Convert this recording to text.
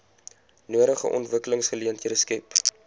nodige ontwikkelingsgeleenthede skep